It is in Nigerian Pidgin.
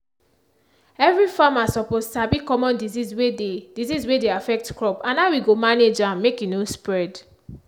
every farmer suppose sabi common disease wey dey disease wey dey affect crop and how e go manage am make e no spread.